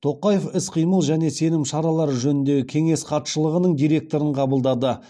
тоқаев іс қимыл және сенім шаралары жөніндегі кеңес хатшылығының директорын қабылдады